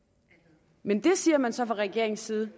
men til det siger man så fra regeringens side